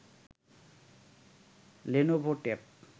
Lenovo tab